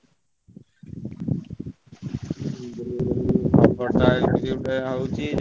।